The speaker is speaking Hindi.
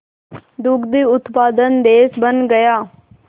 दुग्ध उत्पादक देश बन गया